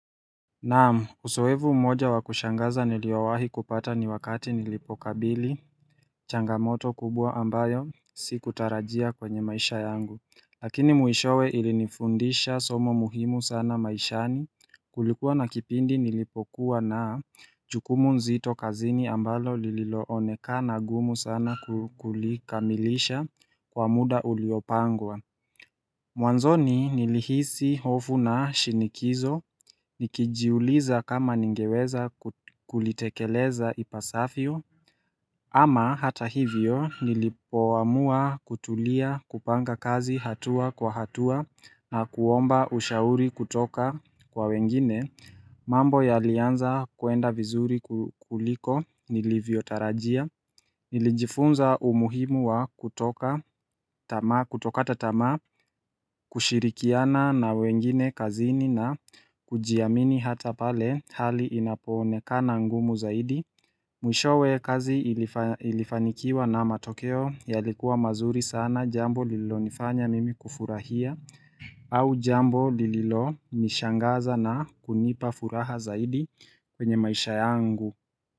Naam uzoefu mmoja wakushangaza niliowahi kupata ni wakati nilipokabili changamoto kubwa ambayo Si kutarajia kwenye maisha yangu Lakini mwishowe ilinifundisha somo muhimu sana maishani Kulikuwa na kipindi nilipokuwa na jukumu zito kazini ambalo lililooneka na gumu sana kulikamilisha kwa muda uliopangwa Mwanzoni nilihisi hofu na shinikizo, nikijiuliza kama ningeweza kulitekeleza ipasavyo, ama hata hivyo nilipoamua kutulia kupanga kazi hatua kwa hatua na kuomba ushauri kutoka kwa wengine, mambo ya alianza kuenda vizuri kuliko nilivyotarajia. Nilijifunza umuhimu wa kutokata tamaa kushirikiana na wengine kazini na kujiamini hata pale hali inapoone kana ngumu zaidi Mwishowe kazi ilifanikiwa na matokeo yalikuwa mazuri sana jambo lililo nifanya mimi kufurahia au jambo lililo nishangaza na kunipa furaha zaidi kwenye maisha yangu.